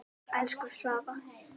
Elsku Svava.